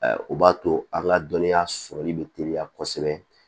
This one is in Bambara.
o b'a to an ka dɔnniya sɔrɔli bɛ teliya kosɛbɛ